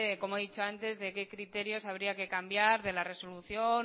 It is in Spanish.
como he dicho antes de qué criterios habría que cambiar de la resolución